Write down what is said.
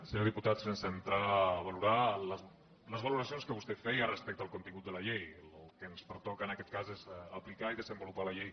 senyor diputat sense entrar a valorar les valoracions que vostè feia respecte al contingut de la llei el que ens pertoca en aquest cas és aplicar i desenvolupar la llei